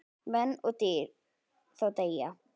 Menn og dýr þá deyja.